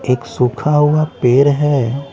एक सूखा हुआ पेर हैं ।